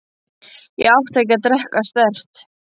Ég átti ekki að drekka sterkt.